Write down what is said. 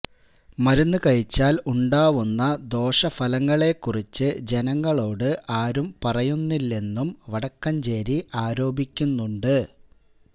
മരുന്ന് കഴിച്ചാല് ഉണ്ടാകാവുന്ന ദോഷഫലങ്ങളെ കുറിച്ച് ജനങ്ങളോട് ആരും പറയുന്നില്ലെന്നും വടക്കഞ്ചേരി ആരോപിക്കുന്നുണ്ട്